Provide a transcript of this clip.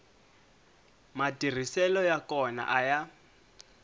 matirhiselo ya kona a ya